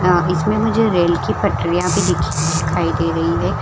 हां इसमे मुझे रेल की पटरियां भी दिख दिखाई दे रही है ।